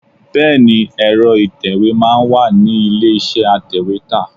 Bẹẹni, èro ìtẹ̀wẹ́ máa ń wà ní ilé iṣẹ́ atèwétà.